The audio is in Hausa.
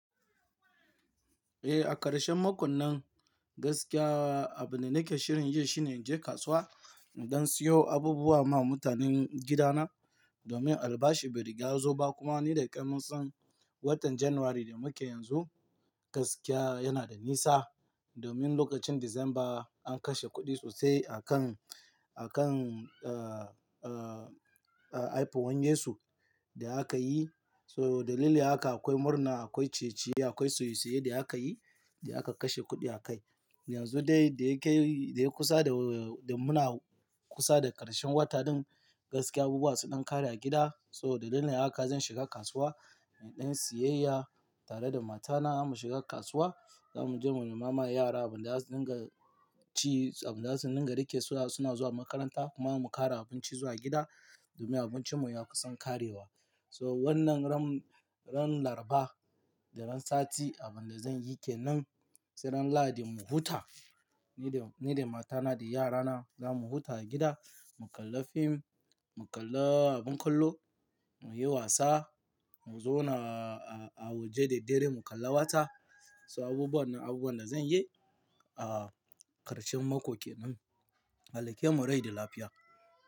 Eh, a ƙarshen makon nan gaskiya abin da nake shirin yi shine in je kasuwa in dan siyo abubuwa ma mutanen gidana. Domin albashi bai riga ya zo ba kuma ni da kai mun san watan January da muke yanzu gaskiya yana da nisa. Domin lokacin December an kashe kuɗi sosai a kan, a kan, uh, uh, uh, aifuwan Yesu da aka yi. So dalili haka akwai murna, akwai ciye ciye, akwai soye-soye da aka yi da aka kashe kuɗi a kai. Yanzu dai da ya kai, da ya kusa da, da muna kusa da ƙarshen wata din gaskiya abubuwa sun dan ƙare a gida. So dalilin haka zan shiga kasuwa in dan yi siyyaya tare da matana mu shiga kasuwa. Za mu je mu nema ma yara abin da za su dinga ci, abin da za su dinga rike su suna zuwa makaranta kuma mu kara abinci zuwa gida domin abincinmu ya kusan ƙarewa. So wannan ran, ran Larba da ran Sati abin da zan yi ke nan se ran lahadi mu huta. Ni da, ni da matana da yarana za mu huta a gida, mu kalla fim, mu kalla abin kallo, mu yi wasa, mu zauna a, a waje da dare mu kalla wata. So abubuwan nan abubuwan da zan yi a ƙarshen mako ke nan. Allah ya kemu rai da lafiya.